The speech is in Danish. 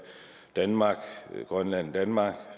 danmark grønland danmark